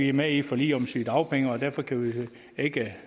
er med i et forlig om sygedagpenge og derfor ikke kan